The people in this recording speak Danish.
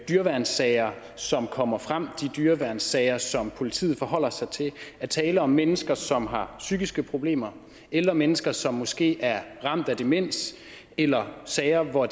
dyreværnssager som kommer frem de dyreværnssager som politiet forholder sig til er tale om mennesker som har psykiske problemer eller mennesker som måske er ramt af demens eller sager hvor